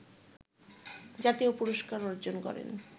জাতীয় পুরস্কার অর্জন করেন